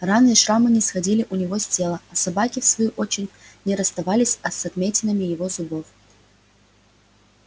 раны и шрамы не сходили у него с тела а собаки в свою очередь не расставались а с отметинами его зубов